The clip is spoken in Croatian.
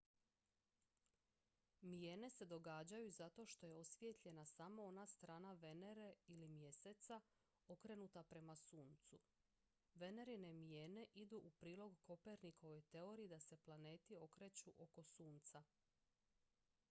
mijene se događaju zato što je osvijetljena samo ona strana venere ili mjeseca okrenuta prema suncu. venerine mijene idu u prilog kopernikovoj teoriji da se planeti kreću oko sunca